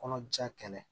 Kɔnɔja kɛlɛ